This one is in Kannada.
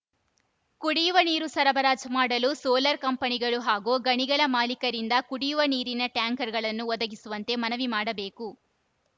ಕುಡಿಯುವ ನೀರು ಸರಬರಾಜು ಮಾಡಲು ಸೋಲರ್‌ ಕಂಪನಿಗಳು ಹಾಗೂ ಗಣಿಗಳ ಮಾಲೀಕರಿಂದ ಕುಡಿಯುವ ನೀರಿನ ಟ್ಯಾಂಕರ್‌ಗಳನ್ನು ಒದಗಿಸುವಂತೆ ಮನವಿ ಮಾಡಬೇಕು